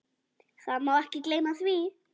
Það má ekki gleyma því.